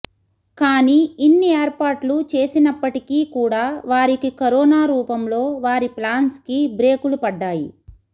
కానీ ఇన్ని ఏర్పాట్లు చేసినప్పటికీ కూడా వారికి కరోనా రూపంలో వారి ప్లాన్స్ కి బ్రేకులు పడ్డాయి